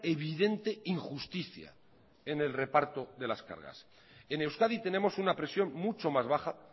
evidente injusticia en el reparto de las cargas en euskadi tenemos una presión mucho más baja